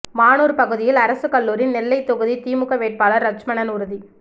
மானூர் பகுதியில் அரசு கல்லூரி நெல்லை தொகுதி திமுக வேட்பாளர் லட்சுமணன் உறுதி